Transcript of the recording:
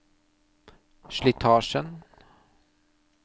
slitasjen